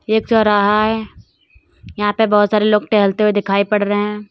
ये चौराहा है यहां पे बहुत सारे आदमी टहलते हुए दिखाई पड़ रहे हैं।